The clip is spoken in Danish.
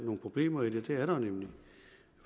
nogle problemer i det det er der jo nemlig